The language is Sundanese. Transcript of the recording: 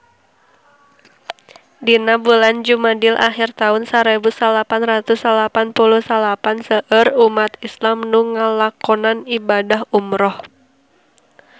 Dina bulan Jumadil ahir taun sarebu salapan ratus salapan puluh salapan seueur umat islam nu ngalakonan ibadah umrah